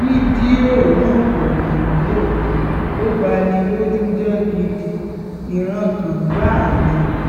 fídíò náà kò dùn-ún-wò ò bá ní lójú jẹ́ gidi ìrankàn gbáà ni